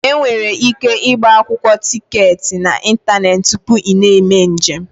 Enwere ike ịgba akwụkwọ tiketi n'ịntanetị tupu ị na-eme njem.